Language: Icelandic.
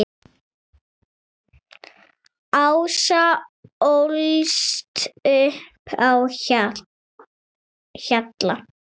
Ása ólst upp á Hjalla.